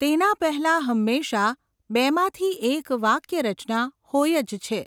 તેના પહેલાં હંમેશાંં બેમાંથી એક વાક્યરચના હોય જ છે.